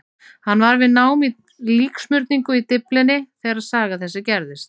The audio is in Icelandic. Hann var við nám í líksmurningu í Dyflinni þegar saga þessi gerðist.